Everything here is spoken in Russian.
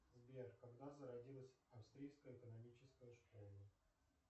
сбер когда зародилась австрийская экономическая школа